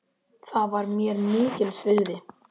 Það var mér mikils virði.